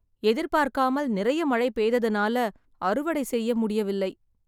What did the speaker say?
எதிர்பார்க்காமல் நெறைய மழை பெய்ததுனால அறுவடை செய்ய முடியவில்லை